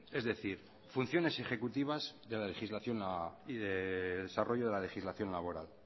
es decir funciones ejecutivas de la legislación y de desarrollo de la legislación laboral